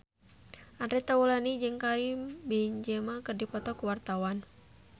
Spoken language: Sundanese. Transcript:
Andre Taulany jeung Karim Benzema keur dipoto ku wartawan